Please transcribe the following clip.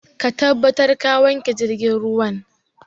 Ka tabbata ka wanke jirgin ruwan!